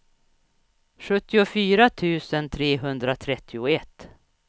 sjuttiofyra tusen trehundratrettioett